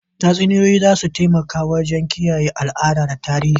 Tatsuniyoyi za su taimaka wajen kiyaye al'ada da tarihi.